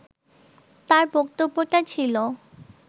তাঁর বক্তব্যটা ছিল